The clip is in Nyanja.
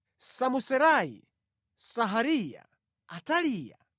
Samuserai, Sehariya, Ataliya,